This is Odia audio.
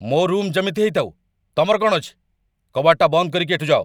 ମୋ' ରୁମ୍‌ ଯେମିତି ହେଇଥାଉ, ତମର କ'ଣ ଅଛି? କବାଟଟା ବନ୍ଦ କରିକି ଏଠୁ ଯାଅ ।